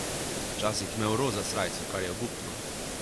Včasih je imel roza srajco, kar je obupno.